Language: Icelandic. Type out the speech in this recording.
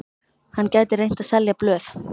Hann gæti reynt að selja blöð.